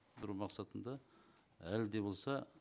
бір мақсатында әлі де болса